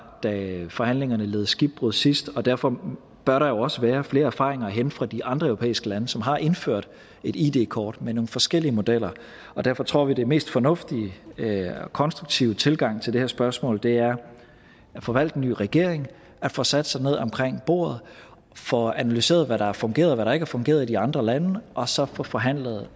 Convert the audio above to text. da forhandlingerne led skibbrud sidst og derfor bør der jo også være flere erfaringer at hente fra de andre europæiske lande som har indført et id kort med nogle forskellige modeller derfor tror vi at den mest fornuftige og konstruktive tilgang til det her spørgsmål er at få valgt en ny regering få sat sig ned omkring bordet og få analyseret hvad der har fungeret og hvad der ikke har fungeret i de andre lande og så få forhandlet